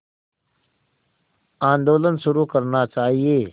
आंदोलन शुरू करना चाहिए